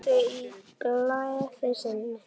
Hún sagði í gleði sinni